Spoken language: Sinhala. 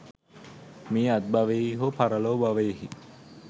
මේ අත්බවයෙහි හෝ පරලොව භවයෙහි